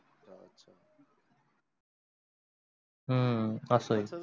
हम्म अस आहे.